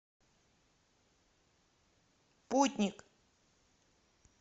путник